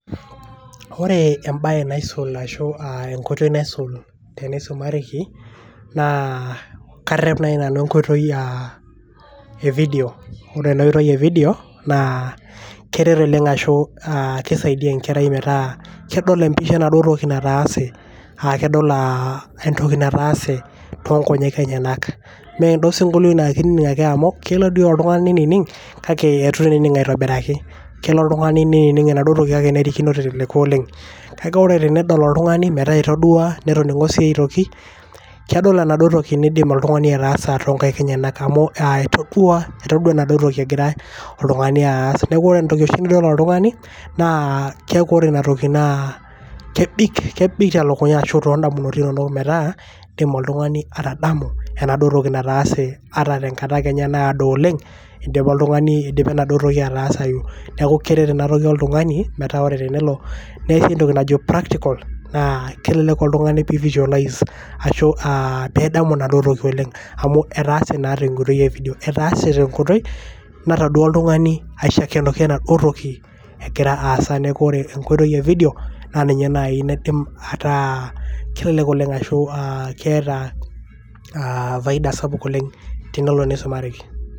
ore ebae naisul ashu, enkoitoi naisul teneisumareki, naa karep naaji nanu enkoitoi e video ore ena oitoi e video naa keret enkerai metaa kedol empisha enaduo toki naatese. kedolaa entoki, kedol entoki nataase toonkonyek enyenak. amu ore osikolio kelo nining kake eitu naa ening' aitobiraki. kelo oltungani nining' enaduo toki kake nerikino teleleko oleng. kake ore pee edol oltungani entoki nening. kedol netum ataasa too nkaik enyenak. neeku ore oshi entoki nidol oltungani naa kebik too nkaik enyanak.